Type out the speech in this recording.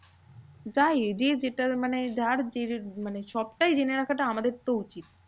যাই যে যেটা মনে যার মানে সবটাই জেনে রাখাটা আমাদের তো উচিত।